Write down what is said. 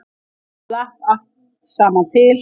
Þetta slapp allt saman til